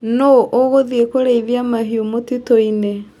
Nũ ũgũthĩi kũrĩithia mahiũ mũtitũinĩ.